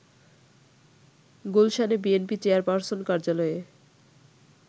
গুলশানে বিএনপি চেয়ারপারসন কার্যালয়ে